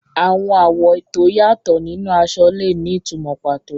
Àwọn àwọ̀ tó yàtọ̀ nínú aṣọ lè ní ìtumọ̀ pàtó.